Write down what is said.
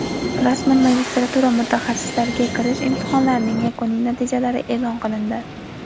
Rasman magistratura mutaxassisliklariga kirish imtihonlarining yakuniy natijalari eʼlon qilindi.